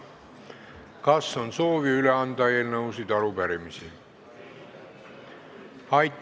Kas on soovi üle anda eelnõusid ja arupärimisi?